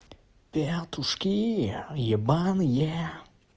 петушки ебаные